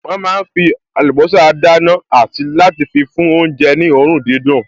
Wọ́n máa fí àlùbọ́sà dáná àti láti fi fún oúnjẹ ní òórùn dídùn